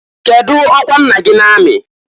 Kedu ọkwa nna gị na amị?